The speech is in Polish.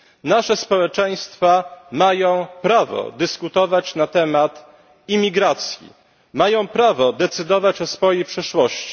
Nasze społeczeństwa mają prawo dyskutować na temat imigracji, mają prawo decydować o swojej przyszłości.